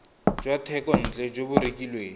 jwa thekontle jo bo rekilweng